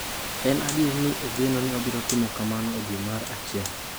En adier ni ogeno ni obiro timo kamano e dwe mar achiel.